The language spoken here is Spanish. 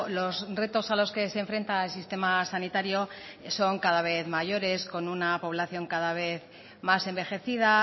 los retos a los que se enfrenta al sistema sanitario son cada vez mayores con una población cada vez más envejecida